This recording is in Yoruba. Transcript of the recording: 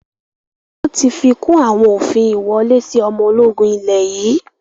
Wọn tí fikùn àwọn òfin ìwọlé sì ọmọ ológun ilẹ̀ yii